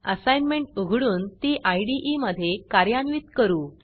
assignment उघडून ती इदे मधे कार्यान्वित करू